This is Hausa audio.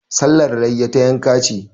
Sallar layya, ta yanka ce.